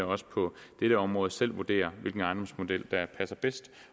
også på dette område selv vurdere hvilken ejendomsmodel der passer bedst